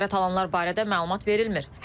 Xəsarət alanlar barədə məlumat verilmir.